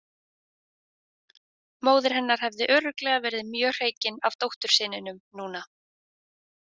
Móðir hennar hefði örugglega verið mjög hreykin af dóttursyninum núna.